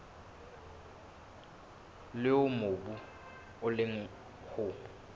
leo mobu o leng ho